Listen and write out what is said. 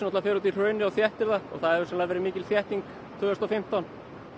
fer út í hraunið og þéttir það og það hefur sennilega verið mikil þétting tvö þúsund og fimmtán